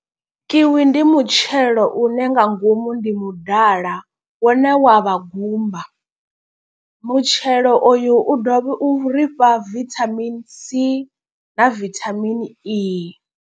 Kiwi ndi mutshelo une nga ngomu ndi mudala wone wa vha gumba. Mutshelo oyu u dovhe u ri fha vitamin c na vitamin e.